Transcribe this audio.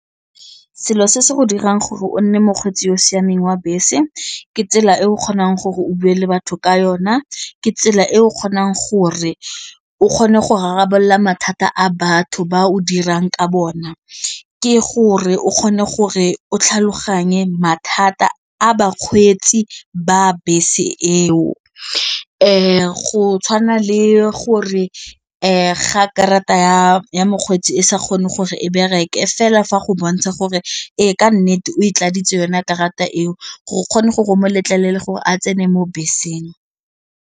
Selo se se dirang gore o nne mokgweetsi yo o siameng wa bese ke tsela e o kgonang gore o bue batho ka yona, ke tsela e o kgonang gore o kgone go rarabolola mathata a batho ba o dirang ka bona, ke gore o kgone gore o tlhaloganye mathata a bakgweetsi ba a bese eo fa go tshwana le gore ga karata ya ya mokgweetsi e sa kgone gore e bereke fela fa go bontsha gore ke nnete o e tladitse yona karata eo gore o kgone gore o mo letlelele gore a tsene mo beseng.